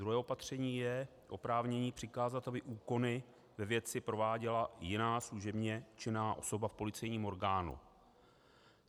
Druhé opatření je oprávnění přikázat, aby úkony ve věci prováděla jiná služebně činná osoba v policejním orgánu.